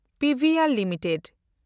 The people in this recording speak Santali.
ᱯᱤᱵᱷᱤᱮᱱᱰ ᱞᱤᱢᱤᱴᱮᱰ